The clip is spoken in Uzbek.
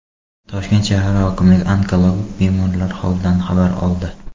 Toshkent shahar hokimligi onkologik bemorlar holidan xabar oldi.